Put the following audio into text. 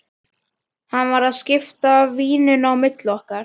Hann var að skipta víninu á milli okkar!